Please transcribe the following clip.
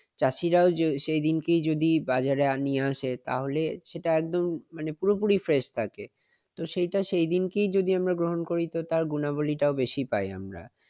চাষিরা ও সেইদিন যদি বাজারে নিয়ে আসে। তাহলে সেটা একদম মানে পুরোপুরি fresh থাকে । তো সেটা সেই দিনই যদি আমরা গ্রহণ করি তো তার গুণাবলীটাও বেশি পাই আমরা।